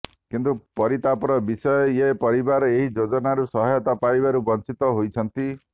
କିନ୍ତୁ ପରିତାପର ବିଷୟ ଏ ପରିବାର ଏହି ଯୋଜନାରୁ ସହାୟତା ପାଇବାରୁ ବଂଚିତ ହେଇଛନ୍ତି